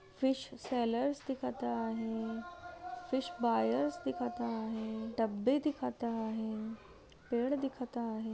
Fish seller दिखत आहे fish buyers दिखत आहे डब्बे दिखत आहे पेड़ दिखत आहे.